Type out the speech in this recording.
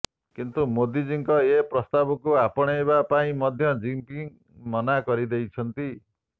କିନ୍ତୁ ମୋଦିଜୀଙ୍କ ଏ ପ୍ରସ୍ତାବକୁ ଆପଣାଇବା ପାଇଁ ମଧ୍ୟ ଜିନ୍ପିଙ୍ଗ୍ ମନା କରି ଦେଉଛନ୍ତି